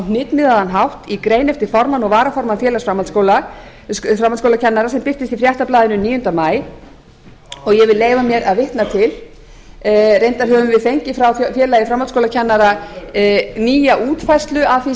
hnitmiðaðan hátt í grein eftir formann og varaformann félags framhaldsskólakennara sem birtist í fréttablaðinu níunda maí og ég vil leyfa mér að vitna til reyndar höfum við fengið frá félagi framhaldsskólakennara nýja útfærslu af því